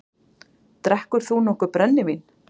Drekkur þú nokkuð brennivín?